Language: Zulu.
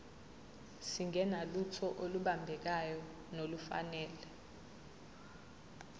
singenalutho olubambekayo nolufanele